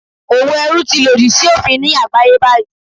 Òwò ẹrú ti lòdì sí òfin ní àgbáyé báyìí.